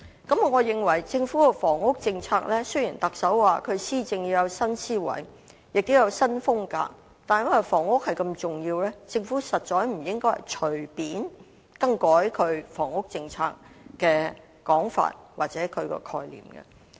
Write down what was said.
對於政府的房屋政策，雖然特首說施政要有新思維和新風格，但由於房屋如此重要，我認為政府實在不應隨便更改對房屋政策的說法或概念。